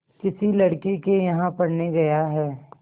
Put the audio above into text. किसी लड़के के यहाँ पढ़ने गया है